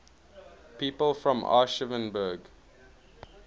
people from aschaffenburg